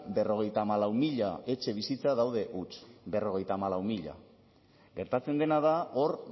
berrogeita hamalau mila etxebizitza daude huts berrogeita hamalau mila gertatzen dena da hor